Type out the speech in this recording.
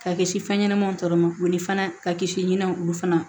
Ka kisi fɛn ɲɛnɛmanw tɔɔrɔ ma u ni fana ka kisi ɲinɛ olu fana